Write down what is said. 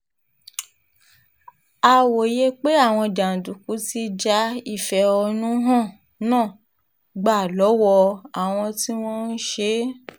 a wòye pé àwọn jàǹdùkú ti já ìfẹ̀hónú hàn náà gbà lọ́wọ́ àwọn tí wọ́n ń ṣe é